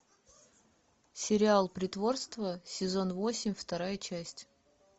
сериал притворство сезон восемь вторая часть